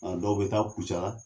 An dɔw bɛ taa Kucala.